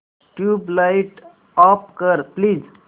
tubelight off कर please